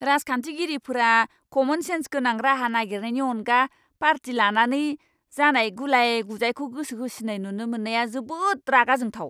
राजखान्थिगिरिफोरा common sense गोनां राहा नागिरनायनि अनगा पार्टि लानानै जानाय गुलाय गुजायखौ गोसोहोसिन्नाय नुनो मोननाया जोबोद रागा जोंथाव!